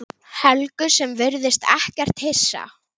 Helgu sem virðist ekkert hissa.